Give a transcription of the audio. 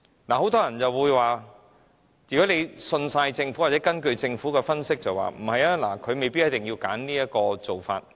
很多人會說，如果完全信任政府或根據政府的分析，它們未必一定要選擇這種做法。